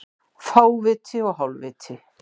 Fáviti og hálfviti